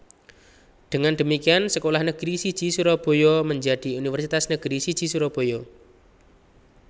Dengan demikian sekolah negeri siji Surabaya menjadi universitas negeri siji Surabaya